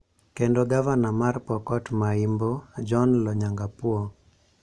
kendo Gavana mar Pokot ma Imbo', John Lonyangapuo.